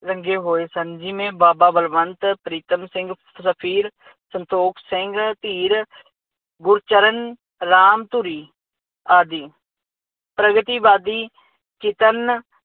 ਰੰਗੇ ਹੋਏ ਸਨ ਜਿਵੇਂ ਬਾਬਾ ਬਲਵੰਤ ਪ੍ਰੀਤਮ ਸਿੰਘ, ਰਫੀਰ, ਸੰਤੋਖ ਸਿੰਘ ਧੀਰ, ਗੁਰਚਰਨ ਰਾਮ ਧੂਰੀ ਆਦਿ ਪ੍ਰਗਤੀਵਾਦੀ ਚੇਤਨ